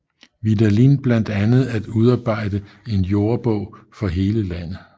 Vidalin blandt andet at udarbejde en jordebog for hele Landet